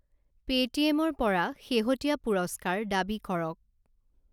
Paytm ৰ পৰা শেহতীয়া পুৰস্কাৰ দাবী কৰক।